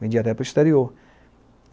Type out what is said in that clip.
Vendia até para o exterior.